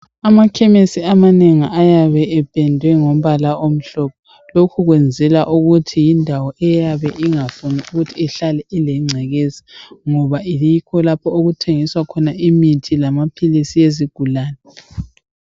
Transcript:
Amakhemisi amanengi ayabe ependwe ngombala omhlophe ,indawo le bayabe bengafuni ukuthi ibelengcekeza ngoba kulapho okuthengiselwa khona amaphilisi abantu abelemikhuhlane.